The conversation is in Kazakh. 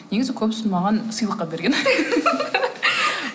негізі көбісін маған сыйлыққа берген